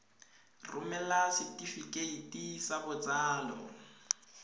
romela setefikeiti sa botsalo sa